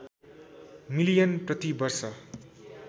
million प्रति वर्ष